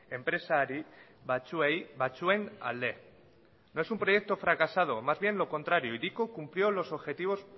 enpresari batzuei batzuen alde no es un proyecto fracasado más bien lo contrario hiriko cumplió los objetivos